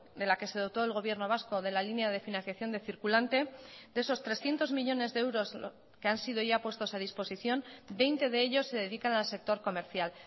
de la que se dotó el gobierno vasco de la línea de financiación de circulante de esos trescientos millónes de euros que han sido ya puestos a disposición veinte de ellos se dedican al sector comercial